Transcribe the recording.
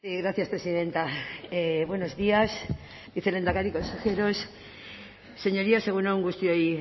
gracias presidenta buenos días vicelehendakari consejeros señorías egun on guztioi